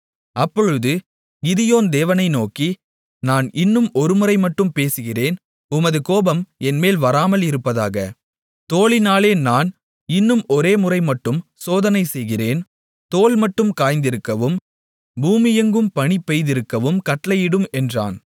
அப்பொழுது கிதியோன் தேவனை நோக்கி நான் இன்னும் ஒரு முறை மட்டும் பேசுகிறேன் உமது கோபம் என்மேல் வராமல் இருப்பதாக தோலினாலே நான் இன்னும் ஒரே முறை மட்டும் சோதனைசெய்கிறேன் தோல் மட்டும் காய்ந்திருக்கவும் பூமியெங்கும் பனி பெய்திருக்கவும் கட்டளையிடும் என்றான்